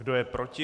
Kdo je proti?